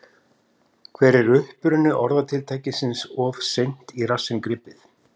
Hver er uppruni orðatiltækisins of seint í rassinn gripið?